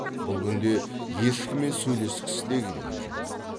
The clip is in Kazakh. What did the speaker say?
бұл күнде ешкіммен сөйлескісі де келген жоқ